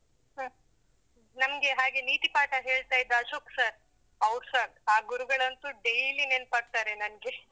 ಹ್ಮ್. ನಮಗೆ ಹಾಗೆ ನೀತಿಪಾಠ ಹೇಳ್ತಾ ಇದ್ದ ಅಶೋಕ್ sir . ಅವ್ರುಸ ಆ ಗುರುಗಳಂತೂ daily ನೆನಪಾಗ್ತಾರೆ ನನಗೆ.